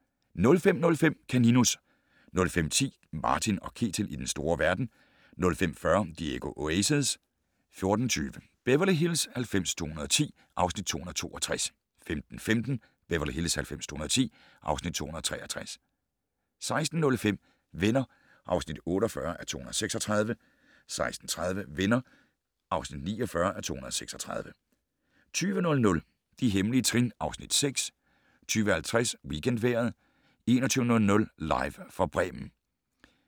05:05: Kaninus 05:10: Martin & Ketil i den store verden 05:40: Diego Oasis 14:20: Beverly Hills 90210 (Afs. 262) 15:15: Beverly Hills 90210 (Afs. 263) 16:05: Venner (48:236) 16:30: Venner (49:236) 20:00: De hemmelige trin (Afs. 6) 20:50: WeekendVejret 21:00: Live fra Bremen